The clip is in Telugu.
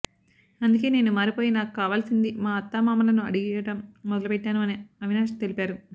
అందుకే నేను మారిపోయి నాకు కావాల్సింది మా అత్త మామాలను అడిగటం మొదలు పెట్టాను అని అవినాష్ తెలిపారు